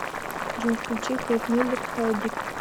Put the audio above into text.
джой включи кейт миллер хайдик